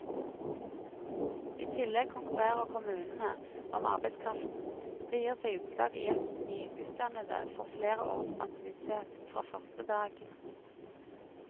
I tillegg konkurrerer kommunene om arbeidskraften, det gir seg utslag i at nyutdannede får flere års ansiennitet fra første dag.